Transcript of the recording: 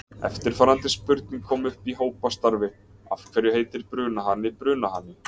Eftirfarandi spurning kom upp í hópastarfi: Af hverju heitir brunahani brunahani?